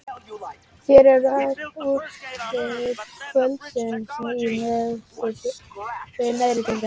Hér eru öll úrslit kvöldsins í neðri deildum: